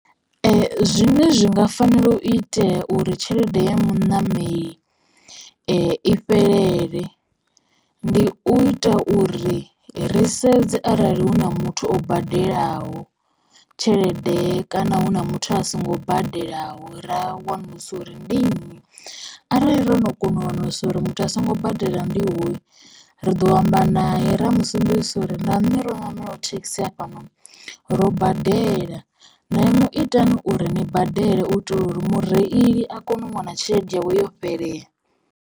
Zwine zwi nga fanela u itea uri tshelede ya muṋameli i fhelele ndi u ita uri risedze arali hu na muthu o badelaho tshelede kana hu na muthu a songo badelaho ra wanulusa uri ndi nnyi. Arali ro no kona u wanulusa uri muthu a songo badelaho ndi hoyu ri ḓo amba nae ra musumbedzisa uri na nṋe ro ṋamelaho thekhisi ya fhano ro badela na inwi itani uri ni badele u itela uri mureili a kone u wana tshelede yawe yo fhelela.